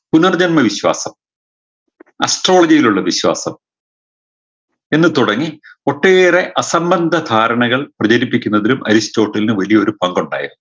പുനർജന്മ വിശ്വാസം astrology യിലുള്ള വിശ്വാസം എന്ന് തുടങ്ങി ഒട്ടേറെ അസംബദ്ധ ധാരണകൾ പ്രചരിപ്പിക്കുന്നതിലും അരിസ്റ്റോട്ടിലിന് വലിയൊരു പങ്കുണ്ടായിരുന്നു